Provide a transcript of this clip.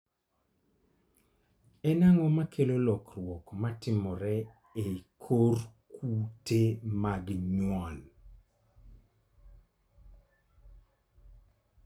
En ang'o makelo lokruok matimore e kor kute mag nyuol?